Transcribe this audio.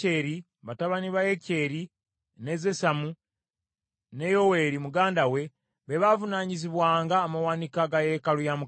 batabani ba Yekyeri, ne Zesamu, ne Yoweeri muganda we, be baavunaanyizibwanga amawanika ga yeekaalu ya Mukama .